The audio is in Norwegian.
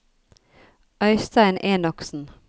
Øystein Enoksen